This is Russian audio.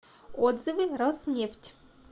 отзывы роснефть